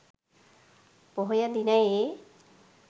පොහොය දිනයේ